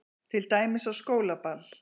Til dæmis á skólaball.